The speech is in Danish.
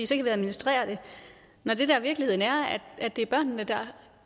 så kan administrere det når det der er virkeligheden er at